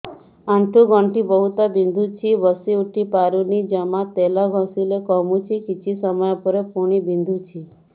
ଆଣ୍ଠୁଗଣ୍ଠି ବହୁତ ବିନ୍ଧୁଛି ବସିଉଠି ପାରୁନି ଜମା ତେଲ ଘଷିଲେ କମୁଛି କିଛି ସମୟ ପରେ ପୁଣି ବିନ୍ଧୁଛି